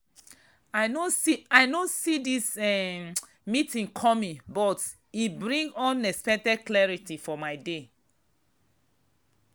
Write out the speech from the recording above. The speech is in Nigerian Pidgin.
i no see this um meeting coming but e bring unexpected clarity for my day.